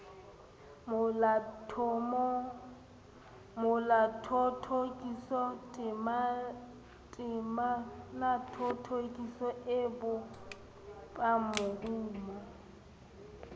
molathothokiso temanathothokiso e bopang morumo